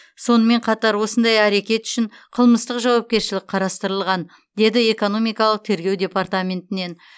сонымен қатар осындай әрекет үшін қылмыстық жауапкершілік қарастырылған деді экономикалық тергеу департаментінен